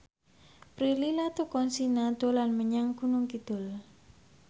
Prilly Latuconsina dolan menyang Gunung Kidul